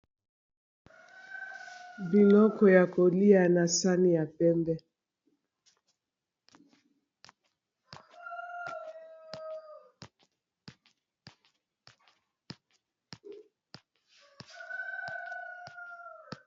Biloko ya kolia na sani ya pembe.